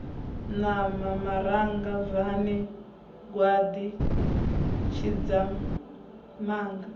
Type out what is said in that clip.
ṋawa maranga bvani gwaḓi tshidzamanga